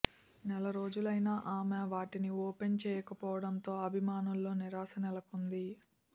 నెల రోజులైన ఆమె వాటిని ఓపెన్ చేయకపోవడంతో అభిమానుల్లో నిరాశ నెలకొంది